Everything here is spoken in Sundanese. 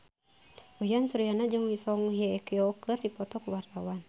Uyan Suryana jeung Song Hye Kyo keur dipoto ku wartawan